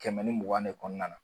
Kɛmɛ ni mugan de kɔnɔna na